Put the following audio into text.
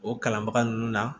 O kalanbaga nunnu na